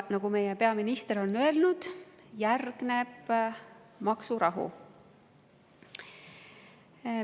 Nagu meie peaminister on öelnud, järgneb maksurahu.